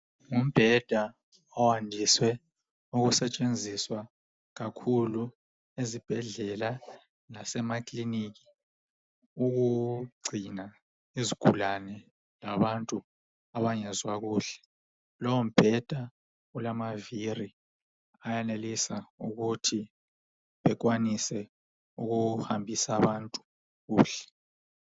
Ngumbheda oyandise ukusetshenziswa kakhulu ezibhedlela lasemakilinika ukugcina izigulane labantu abangezwa kuhle. Lowombheda ulamavili ayenelisa ukuthi ukwanise ukuhambisa abantu kuhle.